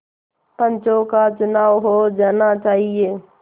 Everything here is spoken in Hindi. पंचों का चुनाव हो जाना चाहिए